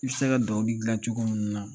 I bɛ se ka dɔw dilan cogo min na